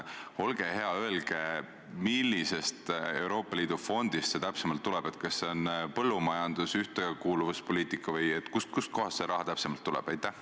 Olge hea, öelge, millisest Euroopa Liidu fondist see täpsemalt tuleb – kas see on põllumajandusfond, ühtekuuluvuspoliitika fond või kust kohast see raha täpsemalt tuleb?